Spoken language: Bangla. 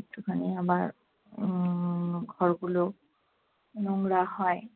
একটু খানি আবার উম ঘরগুলো নোংরা হয়।